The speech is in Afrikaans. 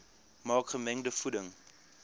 maak gemengde voeding